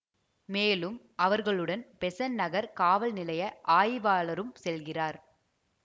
மேலும் அவர்களுடன் பெசன்ட் நகர் காவல் நிலைய ஆய்வாளரும் செல்கிறார்